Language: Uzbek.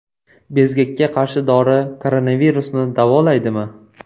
Bezgakka qarshi dori koronavirusni davolaydimi?